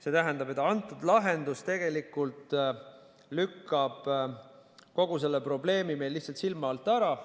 See tähendab, et antud lahendus lükkab kogu selle probleemi meil lihtsalt silma alt ära.